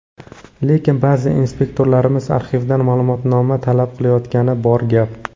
Lekin, ba’zi inspektorlarimiz arxivdan ma’lumotnoma talab qilayotgani bor gap.